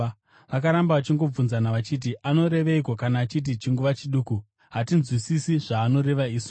Vakaramba vachingobvunzana vachiti, “Anoreveiko kana achiti, ‘Chinguva chiduku’? Hatinzwisisi zvaanoreva isu.”